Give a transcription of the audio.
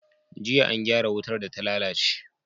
Jiya an gyara wutar data lalace